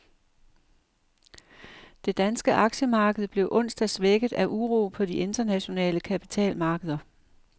Det danske aktiemarked blev onsdag svækket af uro på de internationale kapitalmarkeder.